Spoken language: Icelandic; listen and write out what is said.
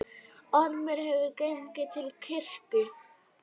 Ormur hafði gengið til kirkju.